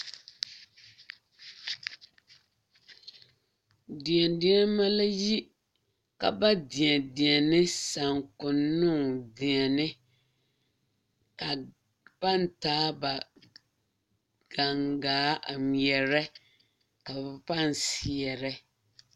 Yie la taa koɔ ka lɔɔpelaa be a koɔ poɔ ka bie do are a lɔre zu kyɛ seɛ kurisɔglaa kyɛ yage o kparoŋ ka teere meŋ are a yie puori seŋ kyɛ ka vūūmie meŋ a wa gaa.